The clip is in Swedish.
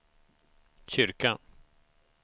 kyrkan